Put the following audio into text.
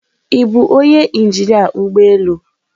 Ị bụ onye injinia ụgbọ elu?